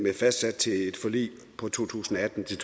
er fastsat i et forlig fra to tusind og atten til